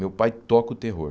Meu pai toca o terror.